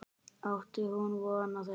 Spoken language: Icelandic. Átti hún von á þessu?